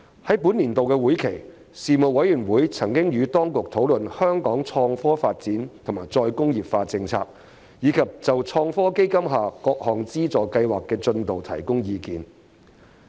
在本年度會期，事務委員會曾與當局討論香港創科發展及再工業化政策，以及就創新及科技基金下各項資助計劃的進度提供意見。